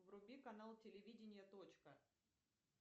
вруби канал телевидение точка